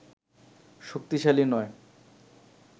শক্তিশালী নয়